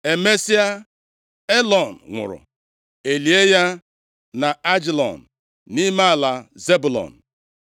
Emesịa, Elọn nwụrụ, e lie ya nʼAijalon, nʼime ala Zebụlọn.